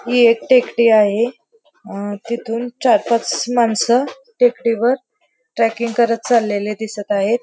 ही एक टेकडी आहे अ तिथून चार पाच माणस टेकडीवर ट्रॅकिंग करत चाललेले दिसत आहेत.